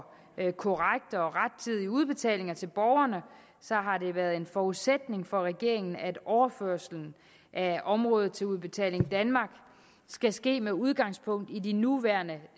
korrekt og rettidig udbetaling til borgerne har det været en forudsætning for regeringen at overførelsen af området til udbetaling danmark skal ske med udgangspunkt i de nuværende